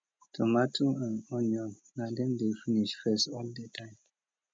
tomato and onion na them dey finish first all the time